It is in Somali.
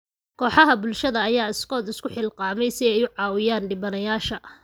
Kooxaha bulshada ayaa iskood isu xilqaamay si ay u caawiyaan dhibanayaasha.